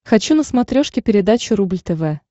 хочу на смотрешке передачу рубль тв